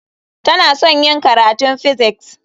Tana son yin karatun physics.